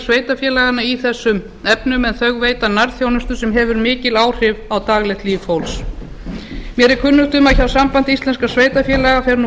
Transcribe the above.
sveitarfélaganna í þessum efnum en þau veita nærþjónustu sem hefur mikil áhrif á daglegt líf fólks mér er kunnugt um að hjá sambandi íslenskra sveitarfélaga fer nú